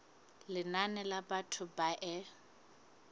lenane la batho ba e